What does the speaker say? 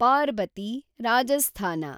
Parbati, Rajasthan